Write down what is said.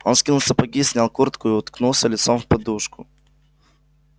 он скинул сапоги снял куртку и уткнулся лицом в подушку